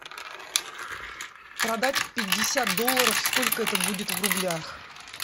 продать пятьдесят долларов сколько это будет в рублях